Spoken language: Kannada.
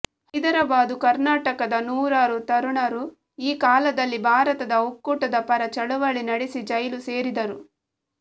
ಹೈದರಾಬಾದು ಕರ್ನಾಟಕದ ನೂರಾರು ತರುಣರು ಈ ಕಾಲದಲ್ಲಿ ಭಾರತದ ಒಕ್ಕೂಟದ ಪರ ಚಳವಳಿ ನಡೆಸಿ ಜೈಲು ಸೇರಿದರು